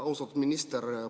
Austatud minister!